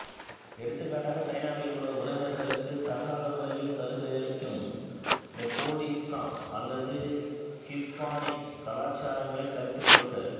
எடுத்துக்காட்டாக சைனாவில் உள்ள உறவினர்களுக்கு தகாத முறையில் சலுகை அளிக்கும் நெப்போடிசம் அல்லது ஹிஸ்பானிக் கலாச்சாரங்களை கருத்தில் கொள்க